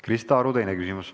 Krista Aru, teine küsimus.